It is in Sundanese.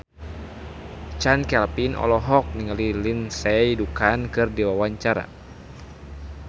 Chand Kelvin olohok ningali Lindsay Ducan keur diwawancara